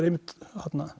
einmitt